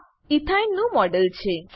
આ ethene ethyne નું model છે